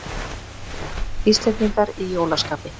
Íslendingar í jólaskapi